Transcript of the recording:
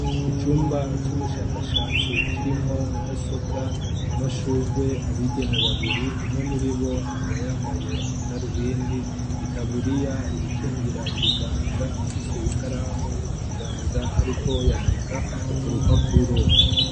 icumba c'ubushakashatsi kirimwo mudasobwa amashugwe abigeme babiri umwe muri bo akaba yambaye amadarubindi itaburiya ibikingira ibiganza afise ikaramu mu kiganza ariko yandika ku rupapuro